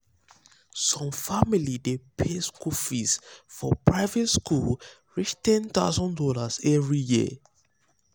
some family dey pay school um fees um for um private school reach $10k every year